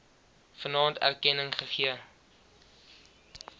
vanaand erkenning gegee